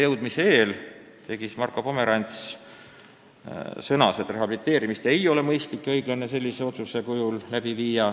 Komsjoni esimees Marko Pomerants sõnas, et rehabiliteerimist ei ole mõistlik ja õiglane läbi viia sellise otsuse kujul.